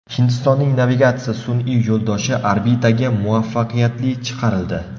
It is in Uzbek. Hindistonning navigatsiya sun’iy yo‘ldoshi orbitaga muvaffaqiyatli chiqarildi.